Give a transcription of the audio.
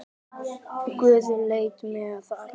Guð lét mig þar.